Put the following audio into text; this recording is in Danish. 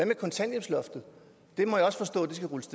med kontanthjælpsloftet det må jeg også forstå skal rulles